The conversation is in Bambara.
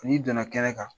N'i donna kɛnɛ kan